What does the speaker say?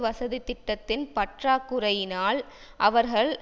வசதித்திட்டத்தின் பற்றா குறையினால் அவர்கள்